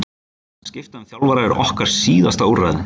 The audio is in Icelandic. Að skipta um þjálfara er okkar síðasta úrræði.